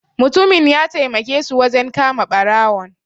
Mutumin ya taimake su wajen kama barawon.